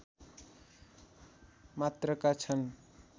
मात्रका छन्